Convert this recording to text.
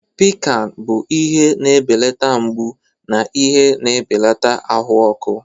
Piccan bụ ihe na-ebelata mgbu na ihe na-ebelata ahụ ọkụ.